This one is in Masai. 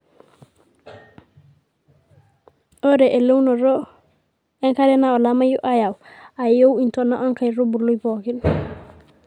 ore eleunoto enkare naa olameyu oyau aiyoi intona enkaitubului pookin